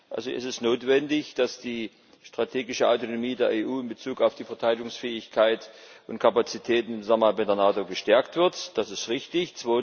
Also ist es notwendig, dass die strategische Autonomie der EU in Bezug auf die Verteidigungsfähigkeit und Kapazitäten bei der NATO gestärkt wird das ist richtig.